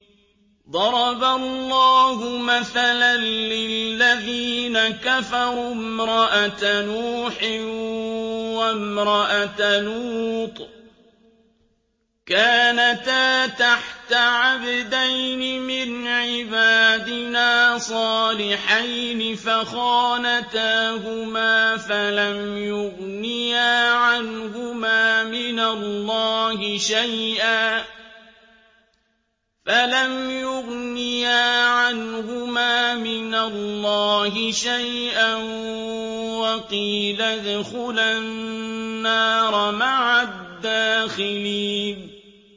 ضَرَبَ اللَّهُ مَثَلًا لِّلَّذِينَ كَفَرُوا امْرَأَتَ نُوحٍ وَامْرَأَتَ لُوطٍ ۖ كَانَتَا تَحْتَ عَبْدَيْنِ مِنْ عِبَادِنَا صَالِحَيْنِ فَخَانَتَاهُمَا فَلَمْ يُغْنِيَا عَنْهُمَا مِنَ اللَّهِ شَيْئًا وَقِيلَ ادْخُلَا النَّارَ مَعَ الدَّاخِلِينَ